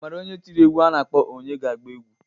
Ị maara onye tiri egwu a na-akpọ :"Onye ga-agba egwu"?